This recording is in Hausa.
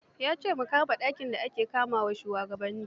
Ya ce mu kama masa dakin da ake kama wa shugabanni.